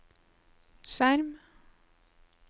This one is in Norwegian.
skjerm